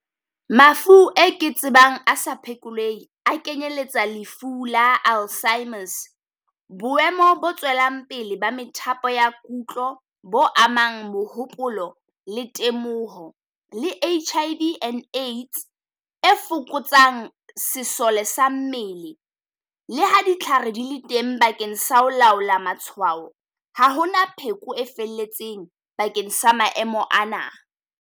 Mafu e ke tsebang asa phekoleheng a kenyeletsa lefu la Alzheimer's. Boemo bo tswelang pele ba methapo ya kutlo bo amang mohopolo le temoho. Le H_I_V and AIDS e fokotsang sesole sa mmele, le ha ditlhare di le teng bakeng sa ho laola matshwao. Ha hona pheko e felletseng bakeng sa maemo ana.